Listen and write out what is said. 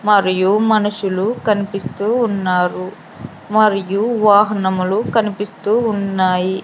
మరియు మనుషులు కనిపిస్తూ ఉన్నారు మరియు వాహనములు కనిపిస్తూ ఉన్నాయి.